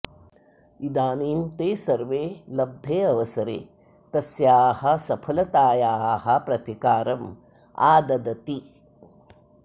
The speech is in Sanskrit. इदानीं ते सर्वे लब्धे अवसरे तस्याः सफलतायाः प्रतिकारम् आददति